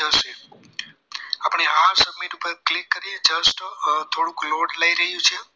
ઉપર click કરીએ just થોડુંક load લઈ રહ્યું છે